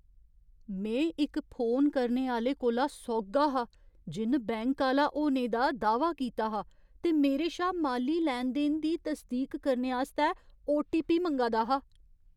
में इक फोन करने आह्‌ले कोला सोह्ग्गा हा जिन बैंक आह्‌ला होने दा दाह्वा कीता हा ते मेरे शा माली लैन देन दी तसदीक करने आस्तै ओटीपी मंगा दा हा।